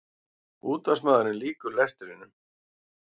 Útvarpsmaðurinn lýkur lestrinum.